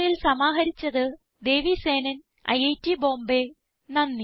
ഈ ട്യൂട്ടോറിയൽ സമാഹരിച്ചത് ദേവി സേനൻ ഐറ്റ് ബോംബേ